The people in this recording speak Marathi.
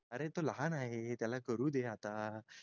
अरे तो लहान आहे त्याला करू दे आता